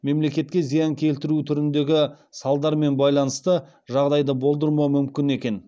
мемлекетке зиян келтіру түріндегі салдармен байланысты жағдайды болдырмау мүмкін екен